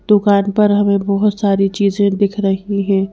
दुकान पर हमें बहुत सारी चीजें दिख रही हैं।